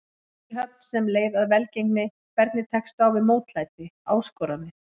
Fyrirhöfn sem leið að velgengni Hvernig tekstu á við mótlæti, áskoranir?